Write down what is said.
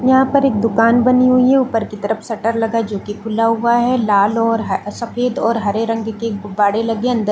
यहाँ पर एक दुकान बनी हुई है उपर की तरफ शटर लगा है जो की खुला हुआ है लाल और सफेद हरे रंग की गुबारे लगे है अंदर --